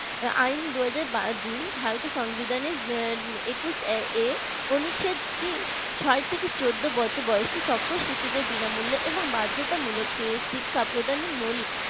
আইন দুই হাজার দুই ভারতের সংবিধানের একুশ এ কোন ছাত্রী ছয় থেকে চোদ্দ বছর বয়সী সকল শিশুদের বিনামূল্যে এবং বাধ্যতামূলক শিক্ষা প্রদানের মৌলিক